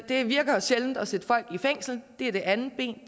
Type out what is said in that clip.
det virker jo sjældent at sætte folk i fængsel det er det andet ben